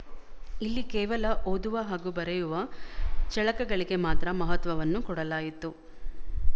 ಇಲ್ಲಿ ಕೇವಲ ಓದುವ ಹಾಗೂ ಬರೆಯುವ ಚಳಕಗಳಿಗೆ ಮಾತ್ರ ಮಹತ್ವವನ್ನು ಕೊಡಲಾಯಿತು